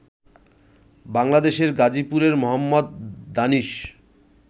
বাংলাদেশের গাজীপুরের মোহাম্মদ দানিশ